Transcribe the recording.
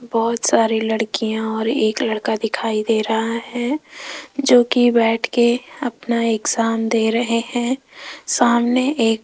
बहोत सारी लड़कियां और एक लड़का दिखाई दे रहा है जो की बैठ के अपना एग्जाम दे रहे हैं सामने एक --